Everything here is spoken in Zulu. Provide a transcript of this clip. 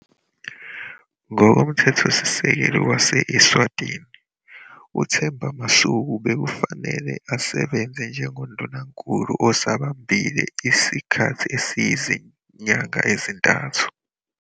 Ngokomthethosisekelo wase-Eswatini, uThemba Masuku bekufanele asebenze njengoNdunankulu osabambile isikhathi esiyizinyanga ezintathu.